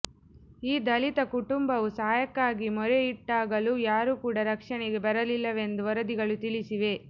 ಈ ದಲಿತ ಕುಟುಂಬವು ಸಹಾಯಕ್ಕಾಗಿ ಮೊರೆಯಿಟ್ಟಾಗಲೂ ಯಾರೂ ಕೂಡಾ ರಕ್ಷಣೆಗೆ ಬರಲಿಲ್ಲವೆಂದು ವರದಿಗಳು ತಿಳಿಸಿವೆ